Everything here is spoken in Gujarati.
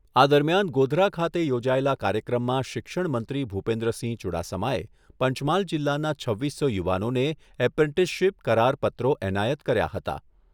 આ દરમિયાન ગોધરા ખાતે યોજાયેલા કાર્યક્રમમાં શિક્ષણમંત્રી ભૂપેન્દ્રસિંહ ચૂડાસમાએ પંચમહાલ જિલ્લાના છવ્વીસો યુવાનોને એપ્રેન્ટિસશીપ કરાર પત્રો એનાયત કર્યા હતા.